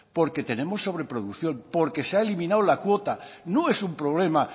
porque tenemos sobreproducción porque se ha eliminado la cuota no es un problema